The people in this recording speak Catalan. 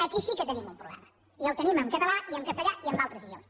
aquí sí que tenim un problema i el tenim en català i en castellà i en altres idiomes